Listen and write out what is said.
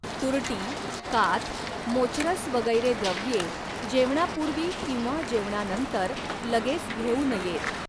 तुरटी, काथ, मोचरस वगैरे द्रव्ये जेवणापूर्वी किंवा जेवणानंतर लगेच घेऊ नयेत.